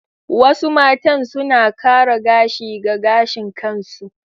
Wasu matan suna kara gashi ga gashin kansu.